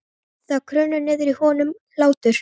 Það kraumar niðri í honum hlátur.